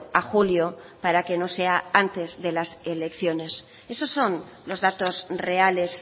a julio para que no sea antes de las elecciones esos son los datos reales